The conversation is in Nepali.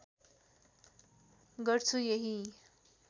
गर्छु यही